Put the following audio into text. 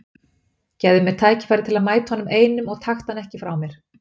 Gefðu mér tækifæri til að mæta honum einum og taktu hann ekki frá mér.